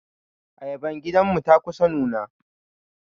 Ayaban gidan mu ta kusa nuna.